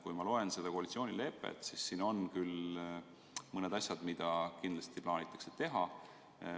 Kui ma loen seda koalitsioonilepet, siis siin on küll mõned asjad, mida kindlasti plaanitakse teha.